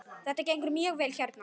Þetta gengur mjög vel hérna.